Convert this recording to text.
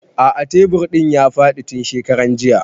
A'a tebur ɗin ya faɗi tun shekaran jiya